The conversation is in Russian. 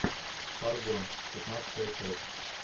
фарго пятнадцатая часть